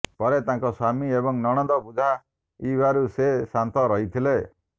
ପରେ ତାଙ୍କ ସ୍ୱାମୀ ଏବଂ ନଣନ୍ଦ ବୁଝାଇବାରୁ ସେ ଶାନ୍ତ ରହିଥିଲେ